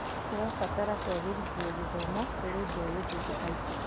Tũrabatara kũagĩrithia gĩthomo kũrĩ mbeũ njĩthĩ aitũ.